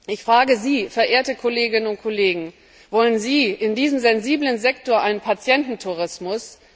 Ich frage Sie, verehrte Kolleginnen und Kollegen Wollen Sie in diesem sensiblen Sektor einen Patiententourismus?